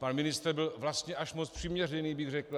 Pan ministr byl vlastně až moc přiměřený, bych řekl.